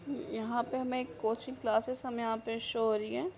यहाँ पे हमें एक कोचिंग क्लासेस हमें यहाँ पे शो हो रही है।